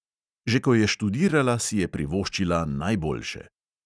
Že ko je študirala, si je privoščila najboljše.